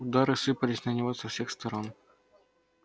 удары сыпались на него со всех сторон